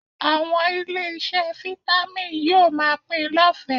Àwọn ilé-iṣẹ́ Vitamin yóò máa pín in lọ́fẹ̀ẹ́